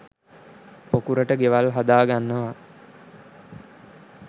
පොකුරට ගෙවල් හදා ගන්නව